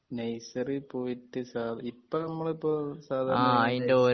nursery പോയിട്ട് സാ ഇപ്പോ നമ്മളിപ്പോ സാധാരണ